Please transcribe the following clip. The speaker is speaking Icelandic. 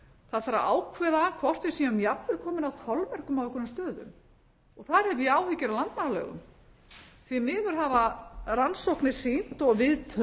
að ákveða hvort við séum jafnvel komin að þolmörkum á einhverjum stöðum þar hef ég áhyggjur af landmannalaugum því miður hafa rannsóknir sýnt og